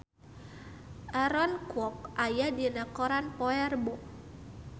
Aaron Kwok aya dina koran poe Rebo